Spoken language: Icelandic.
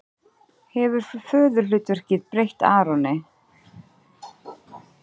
Hefur föðurhlutverkið breytt Aroni?